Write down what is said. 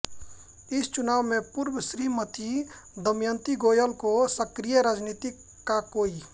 इस चुनाव से पूर्व श्रीमती दमयंती गोयल को सक्रिय राजनीति का कोई